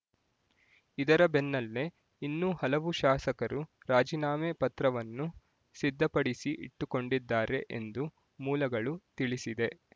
ಇದರ ಬೆನ್ನಲ್ಲೇ ಇನ್ನೂ ಹಲವು ಶಾಸಕರು ರಾಜೀನಾಮೆ ಪತ್ರವನ್ನು ಸಿದ್ಧಪಡಿಸಿಇಟ್ಟುಕೊಂಡಿದ್ದಾರೆ ಎಂದು ಮೂಲಗಳು ತಿಳಿಸಿದೆ